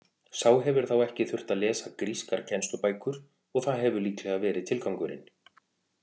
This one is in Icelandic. Sá hefur þá ekki þurft að lesa grískar kennslubækur og það hefur líklega verið tilgangurinn.